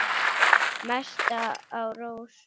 Mest á rósum.